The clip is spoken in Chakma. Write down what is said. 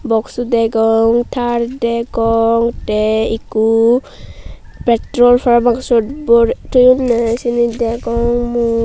boksu degong taar degong tey ikko petro parapang syot borey toyonney siyeni degong mui.